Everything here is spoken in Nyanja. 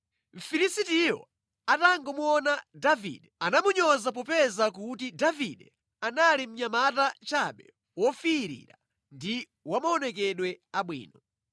Mfilisitiyo atangomuona Davide, anamunyoza popeza kuti Davide anali mnyamata chabe wofiirira ndi wa maonekedwe abwino.